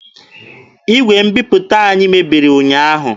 Igwe mbiputa anyị mebiri ụnyaahụ.